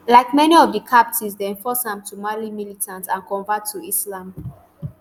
like many of di captives dem force am to marry militant and convert to islam